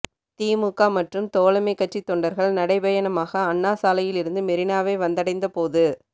திமுக மற்றும் தோழமை கட்சி தொண்டர்கள் நடைபயணமாக அண்ணா சாலையில் இருந்து மெரினாவை வந்தடைந்த போது